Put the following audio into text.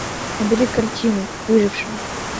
набери картину выжившая